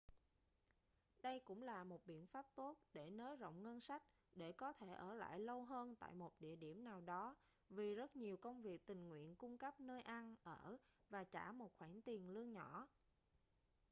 đây cũng là một biện pháp tốt để nới rộng ngân sách để có thể ở lại lâu hơn tại một địa điểm nào đó vì rất nhiều công việc tình nguyện cung cấp nơi ăn ở và trả một khoản tiền lương nhỏ